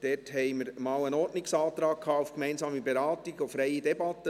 Es gab einen Ordnungsantrag auf gemeinsame Beratung und freie Debatte.